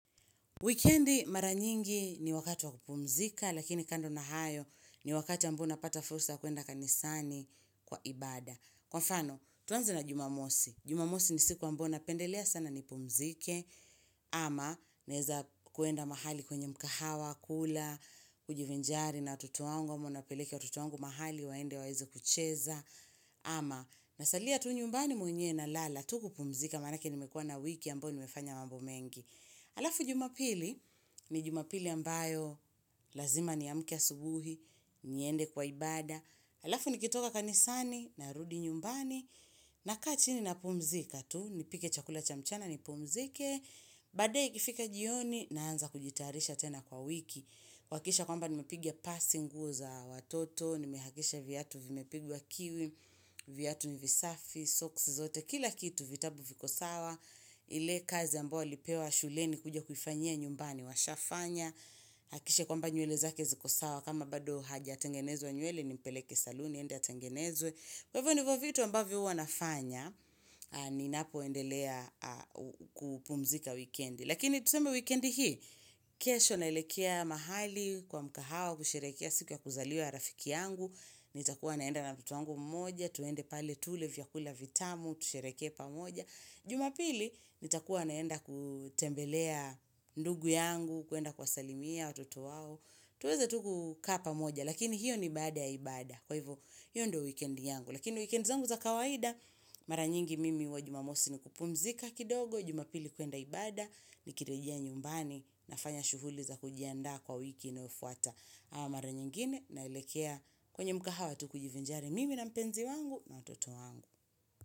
Wikendi mara nyingi ni wakati wa kupumzika lakini kando na hayo ni wakati ambao unapata fursa kuenda kanisani kwa ibada. Kwa mfano, tuanze na jumamosi. Jumamosi ni siku ambayo napendelea sana nipumzike ama naeza kuenda mahali kwenye mkahawa, kula, kujivinjari na watoto wangu, ama niwapeleke watoto wangu mahali waende waeze kucheza ama nasalia tu nyumbani mwenyewe nalala, tu kupumzika manake nimekuwa na wiki ambayo nimefanya mambo mengi. Alafu jumapili ni jumapili ambayo lazima niamke asubuhi, niende kwa ibada. Alafu nikitoka kanisani, narudi nyumbani, nakaa chini napumzika tu. Nipike chakula cha mchana ni pumzike, baadae ikifika jioni naanza kujitayarisha tena kwa wiki. Wakikisha kwamba nimepiga pasi nguo za watoto, nimihakisha viatu vimepigwa kiwi, viatu ni visafi, socks zote. Kila kitu vitabu viko sawa, ile kazi ambao walipewa shuleni kuja kuifanyia nyumbani, washafanya. Hakikishe kwamba nywele zake ziko sawa, kama bado hajatengenezwa nywele ni mpeleke saluni, aende atengenezwe. Kwa hivyo nivo vitu ambavyo uwa nafanya, ninapoendelea kupumzika wikendi. Lakini tuseme wikendi hii, kesho naelekea mahali kwa mkahawa, kusherehekea siku ya kuzaliwa rafiki yangu. Nitakuwa naenda na mtoto wangu mmoja, tuende pale tule vyakula vitamu, tushereheke pamoja Jumapili, nitakuwa naenda kutembelea ndugu yangu, kuenda kuwasalimia watoto wao tuweza tu kukaa pamoja, lakini hiyo ni baada ya ibada Kwa hivo, hiyo ndo wikend yangu Lakini weekend zangu za kawaida, maranyingi mimi uwa jumamosi ni kupumzika kidogo Jumapili kuenda ibada, nikirejia nyumbani, nafanya shuguli za kujiandaa kwa wiki inayofuata ama mara nyingine nalekea kwenye mkaha wa tu kujivinjari mimi na mpenzi wangu na mtoto wangu.